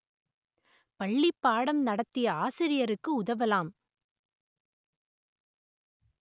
பள்ளிப் பாடம் நடத்திய ஆசிரியருக்கு உதவலாம்